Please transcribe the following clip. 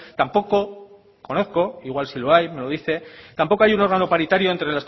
tampoco conozco igual sí lo hay me lo dice tampoco hay un órgano paritario entre